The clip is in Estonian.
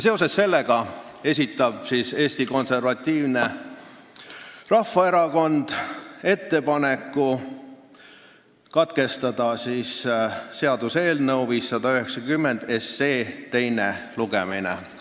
Seega esitab Eesti Konservatiivne Rahvaerakond ettepaneku katkestada seaduseelnõu 590 teine lugemine.